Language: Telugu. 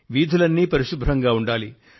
వీధులన్నీ పరిశుభ్రంగా ఉండాలి